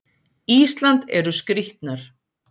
Ísland eru skrýtnar.